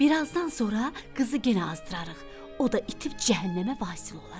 Birazdan sonra qızı yenə azdırarıq, o da itib cəhənnəmə vasil olar.